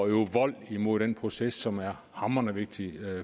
øve vold imod den proces som er hamrende vigtig